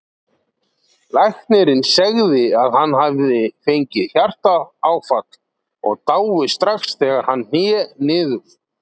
Læknirinn segði að hann hefði fengið hjartaáfall og dáið strax þegar hann hné niður.